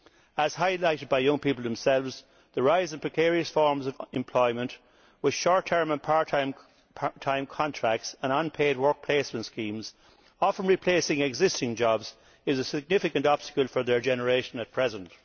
As highlighted by young people themselves, the rise in precarious forms of employment, with short term and part time contracts and unpaid work placement schemes often replacing existing jobs, is a significant obstacle for their generation at present.